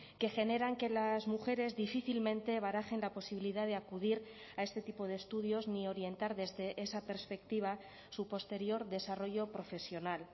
que generan que las mujeres difícilmente barajen la posibilidad de acudir a este tipo de estudios ni orientar desde esa perspectiva su posterior desarrollo profesional